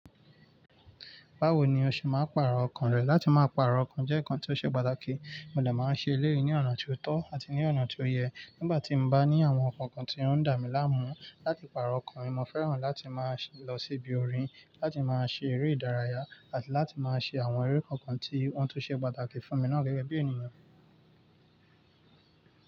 Báwo ni o ṣe máa ń pàrọ̀ ọkàn rẹ? Láti máa pàrọ̀ ọkàn jẹ́ ǹkan tí ó ṣe pàtàkì. Mo dà máa ń ṣe eléyìí ní ọ̀nà tí ó tọ́ àti ní ọ̀nà tí ó yẹ. Nígbà tí mo bá ní àwọn nǹkan kan tí ó ń dà mí láàmú, láti pàrọ̀ ọkàn mi, mo fẹ́ràn láti máa lọ sí ibi orin, láti máa ṣe eré ìdárayá àti láti máa ṣe àwọn eré kọ̀ọ̀kan tí wọn tó ṣe pàtàkì fún mi náà gẹ́gẹ́ bí ènìyàn.